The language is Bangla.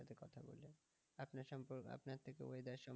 আপনার সম্পর্কে থেকে weather সম্পর্কে।